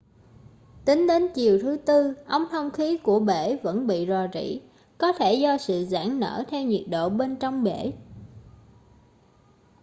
tính đến chiều thứ tư ống thông khí của bể vẫn bị rò rỉ có thể do sự giãn nở theo nhiệt độ bên trong bể